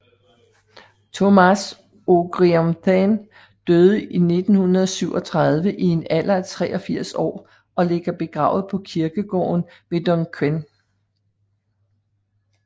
Tomás Ó Criomhtháin døde i 1937 i en alder af 83 år og ligger begravet på kirkegården ved Dunquin